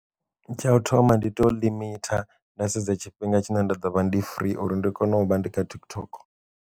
Tsha u thoma ndi to limit nda sedza tshifhinga tshine nda dovha ndi free uri ndi kone u vha ndi kha TikTok.